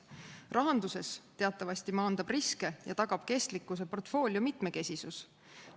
Rahanduses teatavasti maandab riske ja tagab kestlikkuse portfoolio mitmekesisus.